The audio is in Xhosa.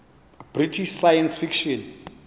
british science fiction